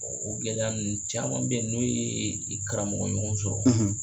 O gɛlɛya ninnu caman bɛ ye n'o ye i karamɔgɔ ɲɔgɔn sɔrɔ.